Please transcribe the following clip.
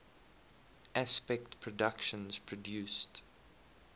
aspect productions produced